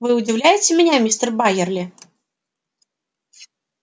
вы удивляете меня мистер байерли